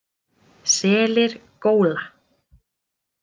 Selir góla.